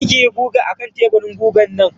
kar kiyi guga akan teburin gugan nan.